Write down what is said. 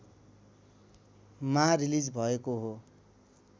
मा रिलिज भएको हो